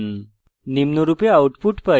নিম্নরূপে output পাই: